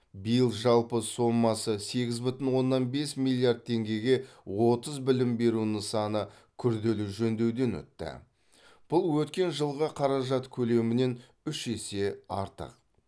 биыл жалпы сомасы сегіз бүтін оннан бес миллиард теңгеге отыз білім беру нысаны күрделі жөндеуден өтті бұл өткен жылғы қаражат көлемінен үш есе артық